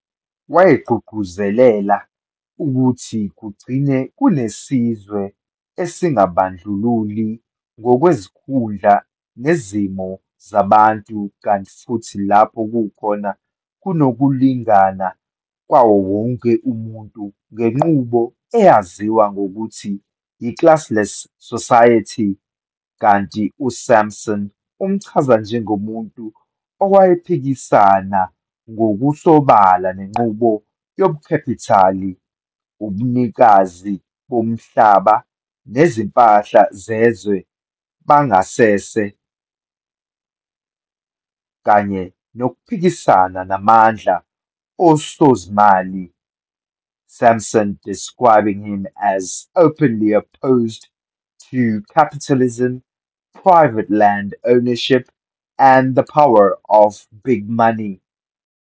Wayegqugquzelela ukuthi kugcine kunesizwe esingabandlululi ngokwezikhundla nezimo zabantu kanti futhi lapho khona kunokulingana kwawo wonke umuntu ngenqubo eyaziwa ngokuthi yi-classless society, kanti uSampson, umchaza njengomuntu owayephikisana ngokusobala nenqubo yobukhapitali, ubunikazi bomhlaba nezimpahla zezwe bangasese, kanye nokuphikisana namandla osozimali, "Sampson describing him as "openly opposed to capitalism, private land-ownership and the power of big money".